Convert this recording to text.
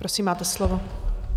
Prosím, máte slovo.